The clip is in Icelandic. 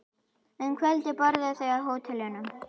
Um kvöldið borðuðu þau á hótelinu.